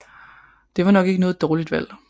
Det var nok ikke noget dårligt valg